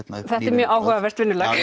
mjög áhugavert vinnulag